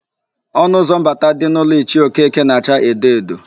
Ọnụụzọ mbata dị n'ụlọ Ichie Okeke na-acha edo edo.